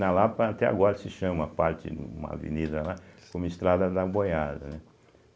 Na Lapa, até agora, se chama, a parte, uma avenida lá, como estrada da boiada, né.